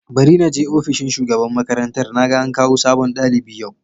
Bari na je ofishin shugaban makarantar, naga an kawo sabon dalibi yau.